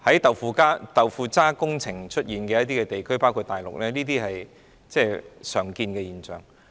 在"豆腐渣"工程出現的地區，包括大陸，這些是常見現象。